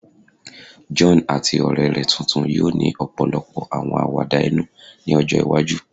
John ati ọrẹ rẹ tuntun yoo ni ọpọlọpọ awọn awada inu ni ọjọ iwaju